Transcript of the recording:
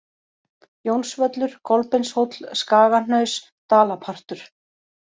Jónsvöllur, Kolbeinshóll, Skagahnaus, Dalapartur